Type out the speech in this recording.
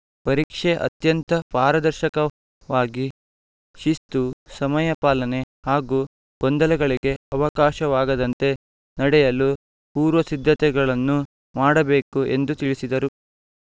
ಪರೀಕ್ಷೆ ಅತ್ಯಂತ ಪಾರದರ್ಶಕವಾಗಿ ಶಿಸ್ತು ಸಮಯ ಪಾಲನೆ ಹಾಗೂ ಗೊಂದಲಗಳಿಗೆ ಅವಕಾಶವಾಗದಂತೆ ನಡೆಯಲು ಪೂರ್ವಸಿದ್ಧತೆಗಳನ್ನು ಮಾಡಬೇಕು ಎಂದು ತಿಳಿಸಿದರು